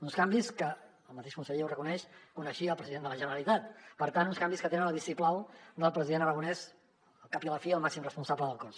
uns canvis que el mateix conseller ho reconeix coneixia el president de la generalitat per tant uns canvis que tenen el vistiplau del president aragonès al cap i a la fi el màxim responsable del cos